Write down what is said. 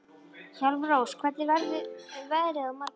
Hjálmrós, hvernig verður veðrið á morgun?